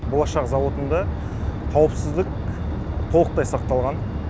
болашақ зауытында қауіпсіздік толықтай сақталған